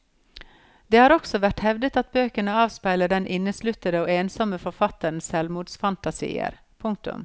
Det har også vært hevdet at bøkene avspeiler den innesluttede og ensommme forfatterens selvmordsfantasier. punktum